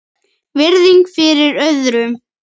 Virðing fyrir öðrum.